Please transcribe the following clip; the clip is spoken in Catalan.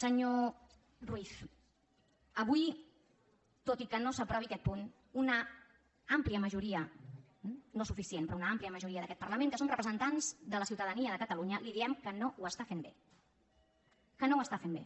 senyor ruiz avui tot i que no s’aprovi aquest punt una àmplia majoria no suficient però una àmplia majoria d’aquest parlament que som representants de la ciutadania de catalunya li diem que no ho fa bé que no ho fa bé